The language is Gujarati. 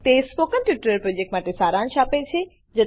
તે સ્પોકન ટ્યુટોરીયલ પ્રોજેક્ટનો સારાંશ આપે છે